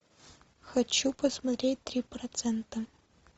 хочу посмотреть три процента